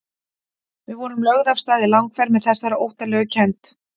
Við vorum lögð af stað í langferð með þessari óttalegu kennd.